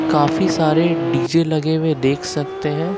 काफी सारे डी_जे लगे हुए देख सकते हैं।